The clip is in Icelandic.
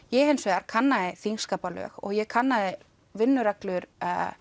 ég hins vegar kannaði þingskaparlög og ég kannaði vinnureglur